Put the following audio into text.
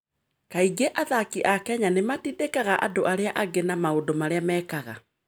Kaingĩ athaki a Kenya nĩ matindĩkaga andũ arĩa angĩ na maũndũ marĩa mekaga.